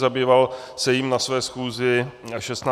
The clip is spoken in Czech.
Zabýval se jím na své schůzi 16. května.